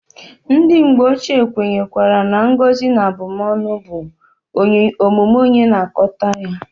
Ndi mgbe ochie kwenyekwara na ngozi na abumonu bu omume onye na-akoata ya.